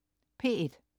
P1: